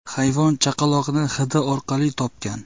Hayvon chaqaloqni hidi orqali topgan.